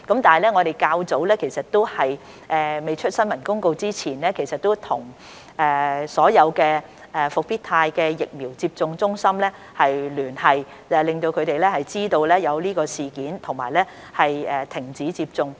不過，在較早前尚未發出新聞公告時，我們其實已經與所有復必泰疫苗接種中心聯繫，讓他們知悉事件及停止接種。